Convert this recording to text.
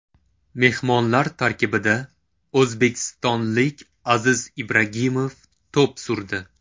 Mehmonlar tarkibida o‘zbekistonlik Aziz Ibragimov to‘p surdi.